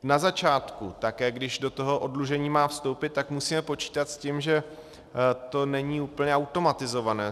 Na začátku také, když do toho oddlužení má vstoupit, tak musíme počítat s tím, že to není úplně automatizované.